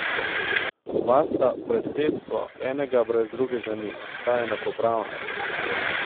Oba sta predsedstvo, enega brez drugega ni, sta enakopravna.